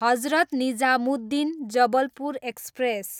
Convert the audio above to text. Hazrat Nizamuddin, Jabalpur express